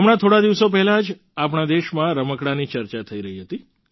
હમણાં થોડા દિવસો પહેલાં જ આપણા દેશમાં રમકડાંની ચર્ચા થઈ રહી હતી